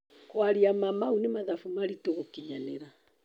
Kwaria ma mau nĩ mathabu maritũ gũkinyanĩra.